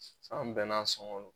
San bɛɛ n'a sɔŋɔ don.